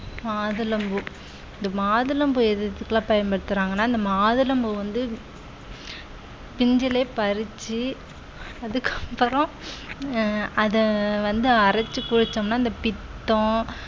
மாதுளம்பூ இது மாதுளம்பூ எதுக்கெல்லாம் பயன்படுத்துறாங்கன்னா இந்த மாதுளம்பூ வந்து பிஞ்சிலே பறிச்சு அதுக்கப்புறம் அஹ் அத வந்து அரைச்சு குளிச்சோம்ன்னா இந்த பித்தம்